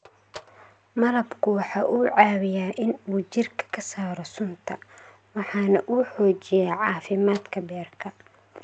Malabku waxa uu caawiyaa in uu jidhka ka saaro sunta, waxana uu xoojiyaa caafimaadka beerka.